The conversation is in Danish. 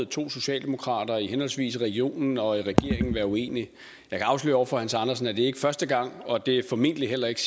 to socialdemokrater i henholdsvis regionen og regeringen være uenige jeg kan afsløre over for hans andersen at det ikke er første gang og det formentlig heller ikke